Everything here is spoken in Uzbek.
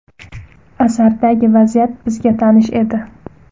Asardagi vaziyat bizga tanish edi.